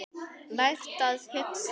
Lært að hugsa.